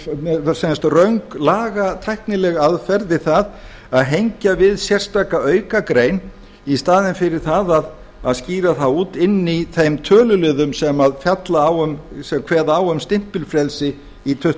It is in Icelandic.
mjög sem sagt röng lagatæknileg aðferð við það að hengja við sérstaka aukagrein í staðinn fyrir það að skýra það út inni í þeim töluliðum sem kveða á um stimpilfrelsi í